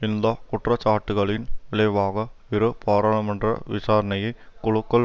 இந்த குற்றச்சாட்டுக்களின் விளைவாக இரு பாராளுமன்ற விசாரணையை குழுக்கள்